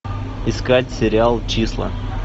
искать сериал числа